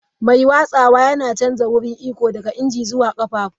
Mai watsawa yana canja wurin iko daga injin zuwa ƙafafun.